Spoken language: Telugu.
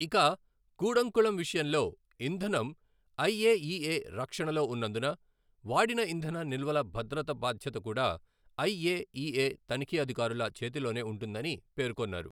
ఇక కూడంకుళం విషయంలో ఇంధనం ఐఏఇఏ రక్షణలో ఉన్నందున, వాడిన ఇంధన నిల్వల భద్రత బాధ్యత కూడా ఐఏఇఏ తనిఖీ అధికారుల చేతిలోనే ఉంటుందని పేర్కొన్నారు.